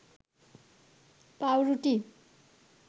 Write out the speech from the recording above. পাউরুটি